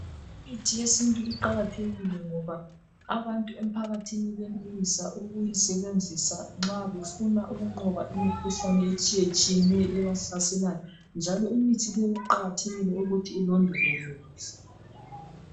Imithi yesintu iqakathekileyo, ngoba abantu emphakathini, benelisa ukuyisebenzisa nxa befuna ukunqoba imikhuhlane etshiyetshiyeneyo, ebahlaselayo. Njalo imithi le kuqakathekile ukuthi ilondolozwe.